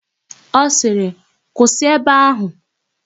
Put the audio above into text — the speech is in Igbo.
Ọ sịrị, "kwụsị ebe áhụ̀"!